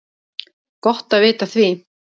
Gott að vita af því!